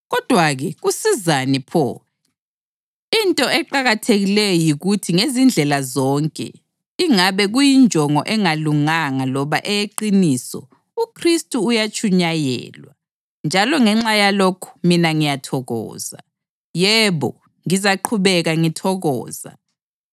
Kodwa-ke, kusizani pho? Into eqakathekileyo yikuthi ngezindlela zonke, ingabe kuyinjongo engalunganga loba eyeqiniso, uKhristu uyatshunyayelwa. Njalo ngenxa yalokhu mina ngiyathokoza. Yebo, ngizaqhubeka ngithokoza,